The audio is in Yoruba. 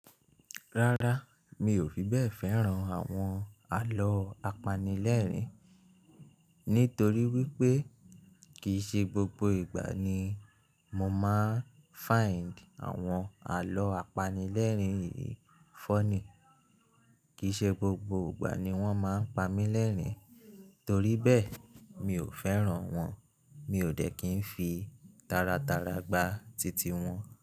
Rárá, mi ò fi bẹ́ẹ̀ fẹ́ran àwọn àlọ́ apanilẹ́rìn, nítorí wípé kìí ṣe gbogbo ìgbà ni mo máa ń find àwọn àlọ́ apanilẹ́rìn yìí funny. Kìí ṣe gbogbo ìgbà ni wọ́n máa ń pa mí lẹ́rìn, torí bẹ́ẹ̀, mi ò fẹ́ran wọn. Mi ò dẹ́ kí ń fi taratara gba titi wọn.